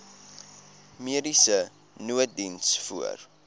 mediese nooddiens voor